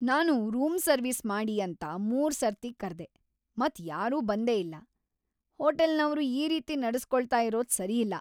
ನಾನು room service ಮಾಡಿ ಅಂತ ಮೂರು ಸರ್ತಿ ಕರ್ದೆ ಮತ್ ಯಾರೂ ಬಂದೆ ಇಲ್ಲ ! ಹೋಟೆಲ್ನವರು ಈ ರೀತಿ ನಡೆಸ್ಕೊಳ್ತಾ ಇರೋದ್ ಸರಿಯಲ್ಲ.